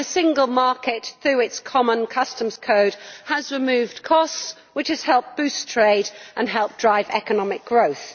The single market, through its common customs code, has removed costs, which has helped to boost trade and drive economic growth.